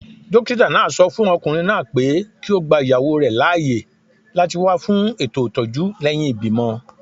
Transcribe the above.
Dókítà náà sọ fún okùnrin náà pé kí ó gba ìyàwó rẹ̀ láàyè láti wá fún ètò ìtọ́jú lẹ́yìn ìbímọ